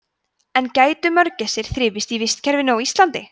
en gætu mörgæsir þrifist í vistkerfinu á íslandi